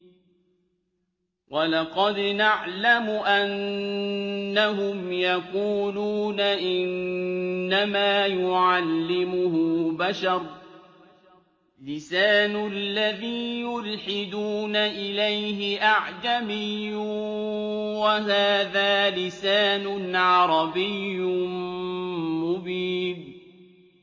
وَلَقَدْ نَعْلَمُ أَنَّهُمْ يَقُولُونَ إِنَّمَا يُعَلِّمُهُ بَشَرٌ ۗ لِّسَانُ الَّذِي يُلْحِدُونَ إِلَيْهِ أَعْجَمِيٌّ وَهَٰذَا لِسَانٌ عَرَبِيٌّ مُّبِينٌ